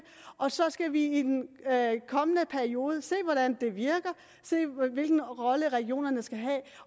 og så skal vi i den kommende periode se hvordan det virker se hvilken rolle regionerne skal have